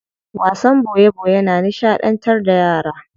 Wasan boye boye na nishadantar da yara.